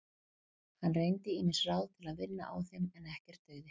Hann reyndi ýmis ráð til að vinna á þeim en ekkert dugði.